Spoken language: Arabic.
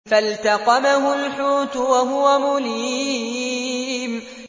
فَالْتَقَمَهُ الْحُوتُ وَهُوَ مُلِيمٌ